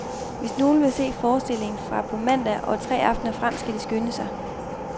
Hvis nogen vil se forestillingen fra på mandag og tre aftener frem, skal de skynde sig.